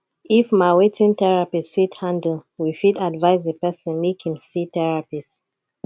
if ma wetin therapist fit handle we fit advice di person make im see therapist